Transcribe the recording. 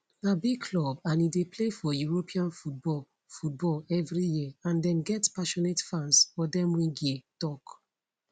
na big club and e dey play for european football football evri year and dem get passionate fans odemwingie tok